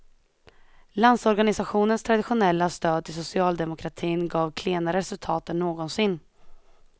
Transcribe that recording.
Landsorganisationens traditionella stöd till socialdemokratin gav klenare resultat än någonsin.